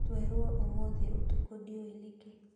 Twerwo ũmũthĩ ũtukũ ndiũĩ nĩkĩ